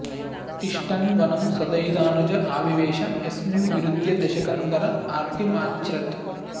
तिष्ठन् वनं सदयितानुज आविवेश यस्मिन् विरुध्य दशकन्धर आर्तिमाच्र्छत्